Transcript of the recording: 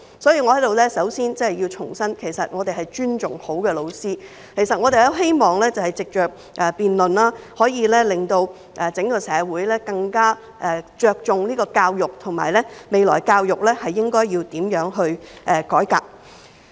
所以，我在此首先要重申，其實我們尊重好的教師；我們希望藉着辯論，可以令整個社會更着重教育，以及探討未來教育應要如何改革。